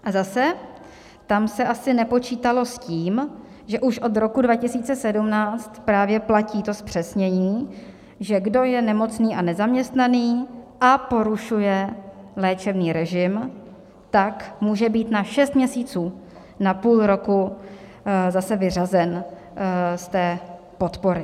A zase, tam se asi nepočítalo s tím, že už od roku 2017 právě platí to zpřesnění, že kdo je nemocný a nezaměstnaný a porušuje léčebný režim, tak může být na šest měsíců, na půl roku, zase vyřazen z té podpory.